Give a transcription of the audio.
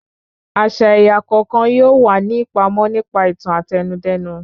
Àṣà ẹ̀yà kọ̀ọ̀kan yóò wà ní ìpàmọ nípa ìtàn Àtẹnudẹ́nu